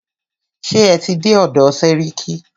Ṣé ẹ tí dé ọ̀dọ̀ sẹ́ríkí?